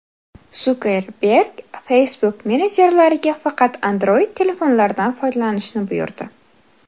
Sukerberg Facebook menejerlariga faqat Android-telefonlardan foydalanishni buyurdi.